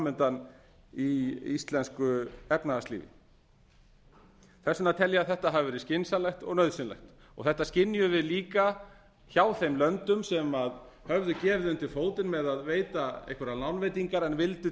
undan í íslensku efnahagslífi þess vegna tel ég að þetta hafi verið skynsamlegt og nauðsynlegt og þetta skynjuðum við líka hjá þeim löndum sem hefðu gefið undir fótinn með að veita einhverjar lánveitingar til vildu